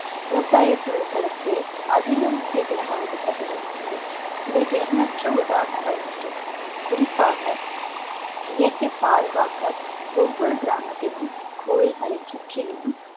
விவசாய பொருட்களுக்கே அதிக முக்கியத்துவம் அளிக்கப்பட்டு வருகிறது இதற்கு எண்ணற்ற உதாரணங்கள் உண்டு குறிப்பாக பாதுகாக்க ஒவ்வொரு கிராமத்திலும் கோயில்களை சுற்றிலும்